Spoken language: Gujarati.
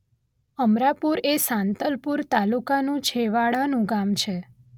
અમરાપુર એ સાંતલપુર તાલુકાનું છેવાડાનું ગામ છે